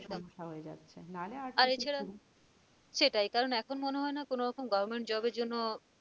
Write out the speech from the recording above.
আর এছাড়া সেটাই কারণ এখন মনে হয়না কোনরকম permanent job এর জন্য